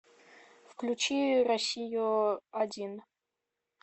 включи россию один